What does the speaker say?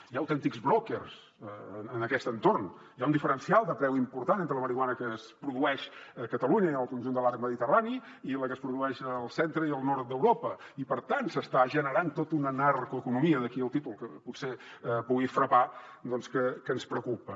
hi ha autèntics brokers en aquest entorn hi ha un diferencial de preu important entre la marihuana que es produeix a catalunya i en el conjunt de l’arc mediterrani i la que es produeix al centre i al nord d’europa i per tant s’està generant tot una narcoeconomia d’aquí el títol que potser pugui frapar que ens preocupa